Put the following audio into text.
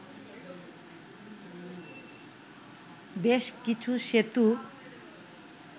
বেশ কিছু সেতু